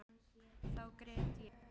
Þá grét ég.